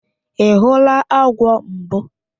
Ị hụla agwọ mbụ?